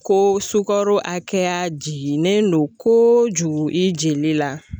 Ko sukaro hakɛya jiginendon koojugu i jeli la